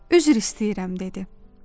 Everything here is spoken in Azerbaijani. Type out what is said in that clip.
Üzr istəyirəm dedi.